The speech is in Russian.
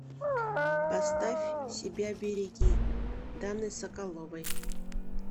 поставь себя береги даны соколовой